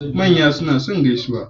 Manya suna so gaisuwa